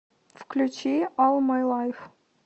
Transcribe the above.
включи олл май лайф